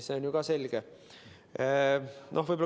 See on ju ka selge.